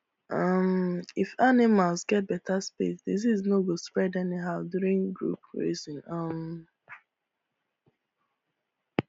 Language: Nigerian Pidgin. um if animals get better space disease no go spread anyhow during group grazing um